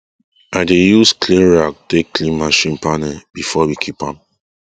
i dey use clean rag take clean machine panel before we keep am